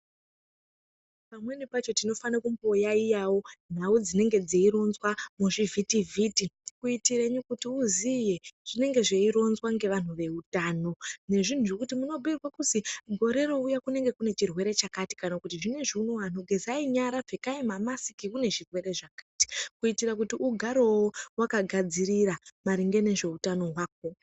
Pamweni pacho tinofane kumboyaiyawo nhau dzinenge dzeironzwa muzvivhitivhiti, kuitire kuti uziye zvinenge zveironzwa ngevanhu veutano, nezvinhu zvekuti munobhiirwe kuzi, gore rouya kunenge kune chirwere chakati, kana kuti anhu zvinezvi unowu gezai nyara, pfekai mamasiki kune zvirwere zvakati, kuitire kuti ugarewo wakagadzirira, maringe nezveutano hwako.